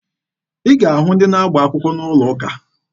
Ị ga-ahụ ndị na-agba akwụkwọ n'ụlọ ụka.